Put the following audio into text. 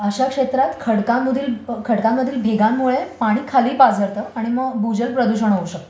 अश्या क्षेत्रात खडकांमधील भेगांमुळे पाणी खाली पाझरतं आणि मग भूजल प्रदूषण होऊ शकतं